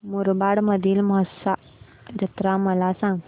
मुरबाड मधील म्हसा जत्रा मला सांग